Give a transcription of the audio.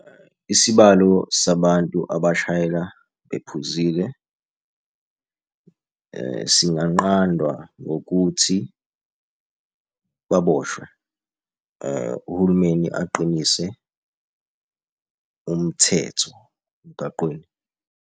Isibalo sabantu abashayela bephuzile singanqandwa ngokuthi baboshwe. Uhulumeni aqinise umthetho emgaqweni.